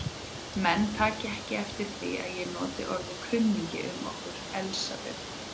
Menn taki eftir því að ég nota orðið kunningi um okkur Elsabetu.